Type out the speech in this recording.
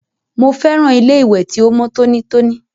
Mo fẹ́ràn ilé ìwẹ̀ ti o mọ tonítoní.